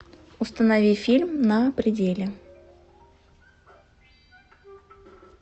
установи фильм на пределе